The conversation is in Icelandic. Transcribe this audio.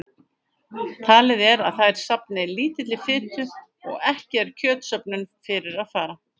Talið er að þær safni lítilli fitu og ekki er kjötsöfnun fyrir að fara.